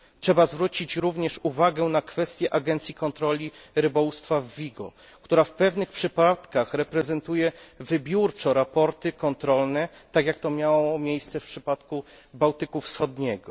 Trzeba zwrócić również uwagę na kwestię agencji kontroli rybołówstwa w Vigo, która w pewnych przypadkach reprezentuje wybiórczo sprawozdania kontrolne, tak jak to miało miejsce w przypadku Bałtyku Wschodniego.